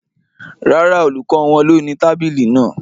Rárá, olùkọ́ wọn ló ni tábìlì náà